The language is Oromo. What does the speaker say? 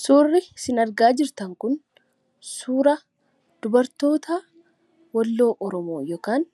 Suuraa kanaa gadii irratti kan argamu kun suuraa dubartoota Walloo Oromooti yookiin